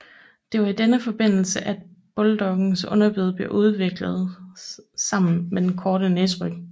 Det var i denne forbindelse at bulldogens underbid blev udviklet sammen med den korte næseryg